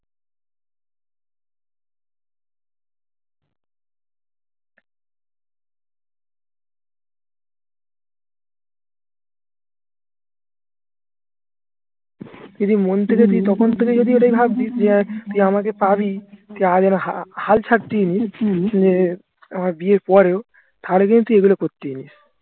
তুই যদি মন থেকে তুই তখন থেকে যদি এটাই ভাবতিস যে তুই আমাকে পাবি হাল ছাড়তি উম বিয়ের পরেও